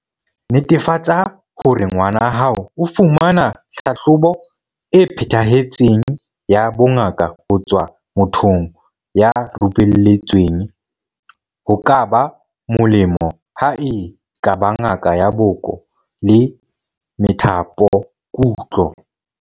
Netefatsa hore ngwana hao o fumana tlhahlobo e phethahetseng ya bongaka ho tswa mothong ya rupelletsweng, ho ka ba molemo ha e ka ba ngaka ya boko le methapokutlo.